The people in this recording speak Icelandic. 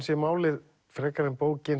sé málið frekar en bókin